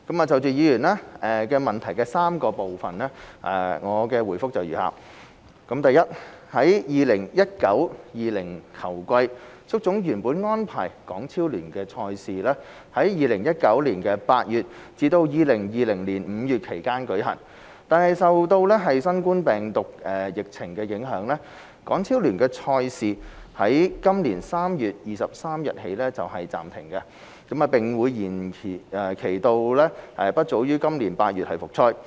就議員質詢的3部分，我的回覆如下：一在 2019-2020 球季，足總原本安排港超聯的賽事在2019年8月至2020年5月期間舉行，但受新冠病毒疫情影響，港超聯的賽事在今年3月23日起暫停，並會延期至不早於今年8月復賽。